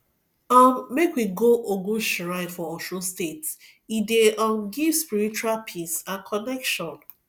um make we go ogun shrine for osun state e dey um give spiritual peace and connection